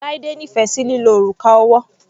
Laide nífẹ̀ sí lílo òrùka ọwọ́.